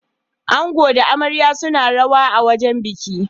Ango da amaryar suna rawa a wajen bikin.